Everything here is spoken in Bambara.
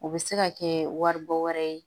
O bɛ se ka kɛ wari bɔ wɛrɛ ye